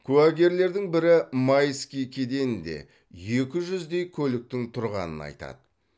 куәгерлердің бірі майский кеденінде екі жүздей көліктің тұрғанын айтады